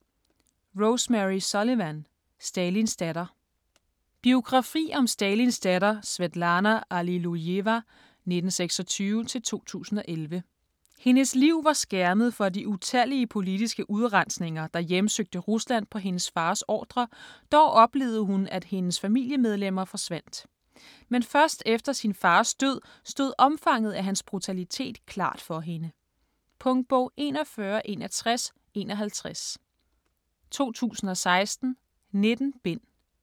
Sullivan, Rosemary: Stalins datter Biografi om Stalins datter Svetlana Allilujeva (1926-2011). Hendes liv var skærmet for de utallige politiske udrensninger, der hjemsøgte Rusland på hendes fars ordre, dog oplevede hun at hendes familiemedlemmer forsvandt. Men først efter sin fars død stod omfanget af hans brutalitet klart for hende. Punktbog 416151 2016. 19 bind.